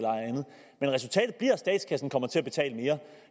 statskassen kommer til at betale mere